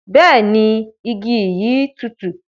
Bẹẹni, igi yi tùtù.